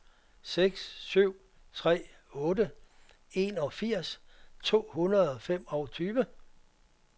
seks syv tre otte enogfirs to hundrede og femogtyve